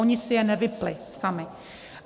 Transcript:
Oni si je nevypnuli sami.